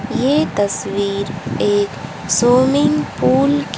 ये तस्वीर एक स्विमिंग पूल की--